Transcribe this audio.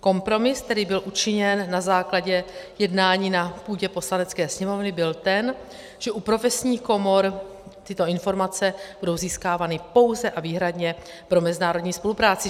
Kompromis, který byl učiněn na základě jednání na půdě Poslanecké sněmovny, byl ten, že u profesních komor tyto informace budou získávány pouze a výhradně pro mezinárodní spolupráci.